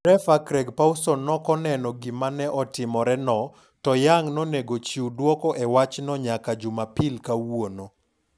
Refa Craig Pawson noko neno gima ne otimore no to Young nonego chiw duoko e wachno nyaka Jumapil kawuono.